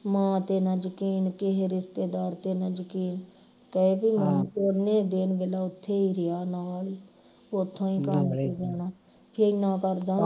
ਮਾਂ ਤੇ ਨਾ ਯਕੀਨ ਕਿਹੇ ਰਿਸ਼ਤੇਦਾਰ ਤੇ ਨਾ ਯਕੀਨ ਉਨੇ ਦਿਨ ਵੇਖ ਲਾ ਉਥੇ ਹੀ ਰਿਹਾ ਨਾਲ ਹੀ ਉਥੋਂ ਈ ਕੰਮ ਤੇ ਜਾਣਾ ਕਿੰਨਾ ਕਰਦਾ